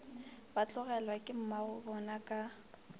ba tlogelwa ke mmagobona ka